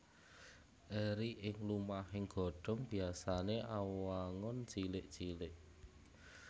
Eri ing lumahing godhong biasané awangun cilik cilik